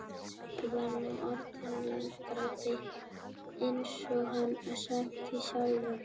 Pabbi var nú orðinn landkrabbi eins og hann sagði sjálfur.